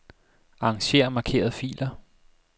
Arranger markerede filer.